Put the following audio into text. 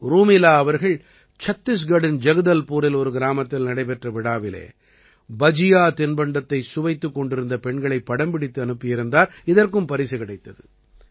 ரூமிலா அவர்கள் சத்திஸ்கட்டின் ஜக்தல்பூரின் ஒரு கிராமத்தில் நடைபெற்ற விழாவிலே பஜியா தின்பண்டத்தைச் சுவைத்துக் கொண்டிருந்த பெண்களைப் படம்பிடித்து அனுப்பியிருந்தார் இதற்கும் பரிசு கிடைத்தது